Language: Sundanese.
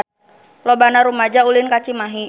Loba rumaja ulin ka Cimahi